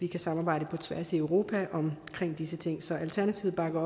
kan samarbejde på tværs af europa om disse ting så alternativet bakker